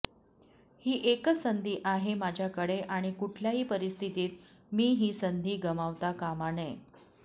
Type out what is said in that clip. ही एकच संधी आहे माझ्याकडे आणि कुठल्याही परिस्थितीत मी ही संधी गमावता कामा नये